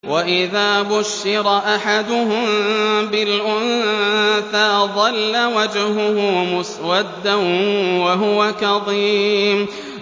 وَإِذَا بُشِّرَ أَحَدُهُم بِالْأُنثَىٰ ظَلَّ وَجْهُهُ مُسْوَدًّا وَهُوَ كَظِيمٌ